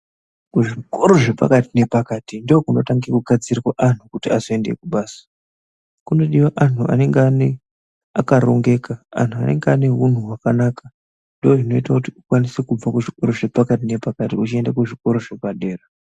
Kuzvikoro zvepakati nepakati ndokunotangira kugadzirwa anu, kuti azoyende kubasa. Kunodiwa anhu anenge akarongeka, anhu anenge ane wunhu wakanaka. Ndozvinoyita kuti ukwanise kubva kuzvikora zvepakati nepakati, uchiyenda kuzvikora zvepadera.